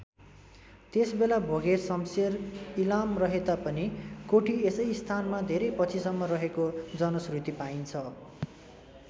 त्यसबेला भोगे शम्शेर इलाम रहेता पनि कोठी यसै स्थानमा धेरै पछिसम्म रहेको जनश्रुति पाइन्छ।